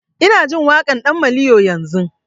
Ina jin waƙan ɗan maliyo yanzun